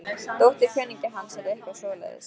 Dóttir kunningja hans eða eitthvað svoleiðis.